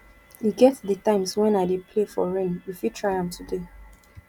e get di times wen i dey play for rain you fit try am today